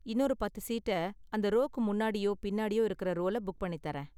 இன்னொரு பத்து சீட்ட அந்த ரோக்கு முன்னாடியோ பின்னாடியோ இருக்கற ரோல புக் பண்ணி தர்றேன்.